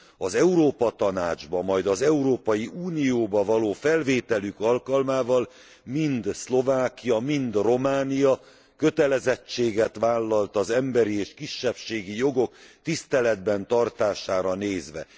Az Európa Tanácsba, majd az Európai Unióba való felvételük alkalmával mind Szlovákia, mind Románia kötelezettséget vállalt az emberi és kisebbségi jogok tiszteletben tartására nézve.